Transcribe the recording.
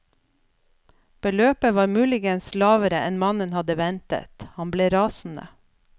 Beløpet var muligens lavere enn mannen hadde ventet, han ble rasende.